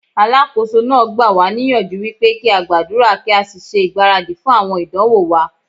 Alákóso náà gbà wá níyànjú wípé kí á gbàdúrà kí á sì ṣe ìgbáradì fún àwọn ìdánwò wa.